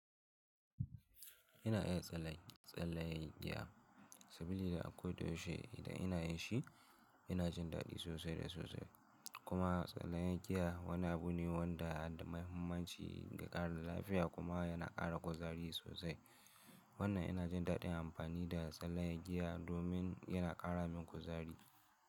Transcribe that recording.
Ina iya tsalle-tsalle giya saboda akwai doshi. Ida inayi shi, yana jin daɗi sosai da sosai. Kuma tsalle giya wani abune wanda da muhimmanci ga ƙarin lafiya kuma yana ƙara kuzari sosai. Wannan yana jin daɗin amfani da tsalle giya domin yana ƙara min kuzari.